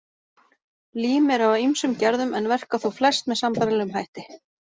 Lím eru af ýmsum gerðum en verka þó flest með sambærilegum hætti.